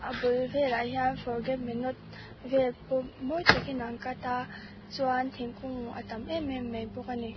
bul velah hian forget me not vel pawh mawi takin an cut a chuan thingkung a tam em em mai bawk ani.